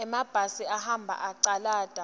semabhasi ahambe acalata